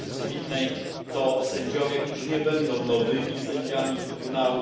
Służby Publicznej to sędziowie, którzy nie będą nowymi sędziami Trybunału